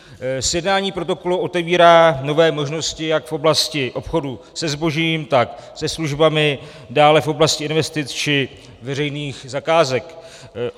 Sjednání protokolu otevírá nové možnosti jak v oblasti obchodu se zbožím, tak se službami, dále v oblasti investic či veřejných zakázek.